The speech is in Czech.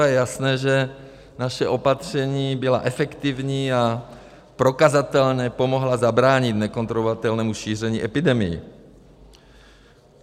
A je jasné, že naše opatření byla efektivní a prokazatelně pomohla zabránit nekontrolovatelnému šíření epidemie.